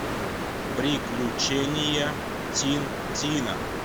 приключения тинтина